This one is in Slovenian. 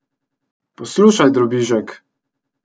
Poslušaj, drobižek!